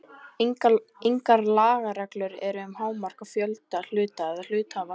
Engar lagareglur eru um hámark á fjölda hluta eða hluthafa.